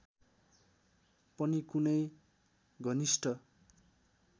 पनि कुनै घनिष्ठ